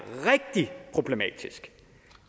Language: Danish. rigtig problematisk